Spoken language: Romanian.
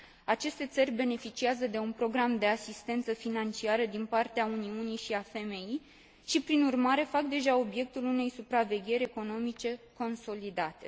Aceste țări beneficiază de un program de asistență financiară din partea Uniunii Europene și a FMI și, prin urmare, fac deja obiectul unei supravegheri economice consolidate.